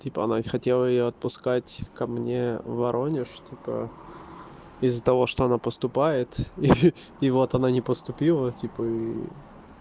типа она не хотела её отпускать ко мне в воронеж типо из-за того что она поступает и и вот она не поступила типа ии